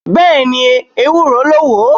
Bẹ́ẹ̀ni. Ewúro ló wo.....